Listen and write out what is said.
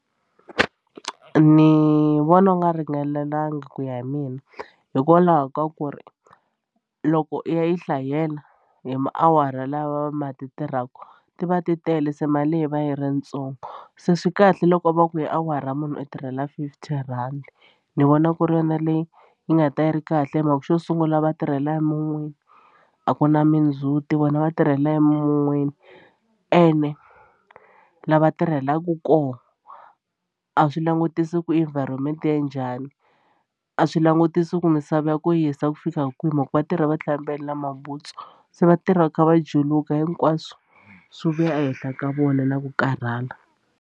Ni vona wu nga ringanelanga ku ya hi mina hikwalaho ka ku ri loko i ya yi hlayela hi maawara lawa ma ti tirhaku ti va ti tele se mali leyi va yi ri ntsongo se swi kahle loko va ku yi awara munhu u tirhela fifty rhandi ni vona ku ri yona leyi yi nga ta yi ri kahle hi mhaka xo sungula va tirhela emun'wini a ku na mindzhuti vona va tirhela emun'wini ene la va tirhelaka kona a swi langutisi ku environment ya njhani a swi langutisi ku misava ya ku hisa ku fika kwihi mhaka va tirha va tlhe va mbale na mabutsu se va tirhi va kha va juluka hinkwaswo swi vuya ehenhla ka vona na ku karhala.